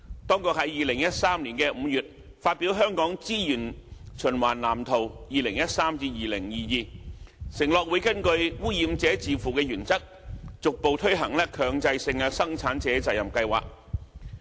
當局在2013年5月發表《香港資源循環藍圖 2013-2022》，承諾會根據"污染者自付"原則，逐步推行強制性生產者責任計劃。